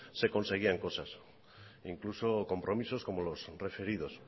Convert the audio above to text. se conseguían cosas incluso compromisos como los referidos